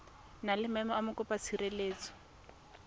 na le maemo a mokopatshireletso